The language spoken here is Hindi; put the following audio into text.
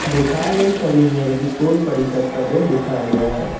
दिखाई गई छवि में एक स्कूल परिषद का दृश्य दिखाया गया है।